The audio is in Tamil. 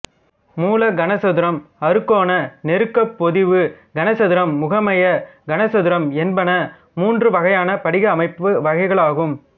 மூல கனசதுரம் அறுகோண நெருக்கப்பொதிவு கனசதுரம் முகமைய கனசதுரம் என்பன மூன்று வகையான படிக அமைப்பு வகைகளாகும்